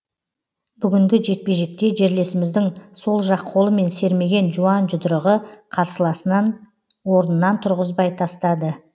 бүгінгі жекпе жекте жерлесіміздің сол жақ қолымен сермеген жуан жұдырығы қарсыласынан орнынан тұрғызбай тастады